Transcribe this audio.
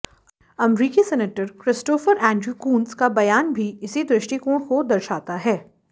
अमरीकी senator Christopher Andrew Coons का बयान भी इसी दृष्टिकोण को दर्शाता है